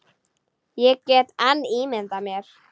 Ég get enn ímyndað mér!